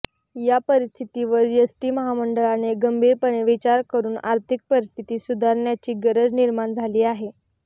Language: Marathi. या परिस्थितीवर एसटी महामंडळाने गंभीरपणे विचार करून आर्थिक परिस्थिती सुधारण्याची गरज निर्माण झाली आहे